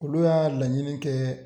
Olu y'a laɲini kɛɛ